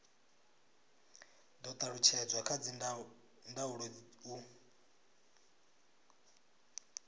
do talutshedzwa kha dzindaulo u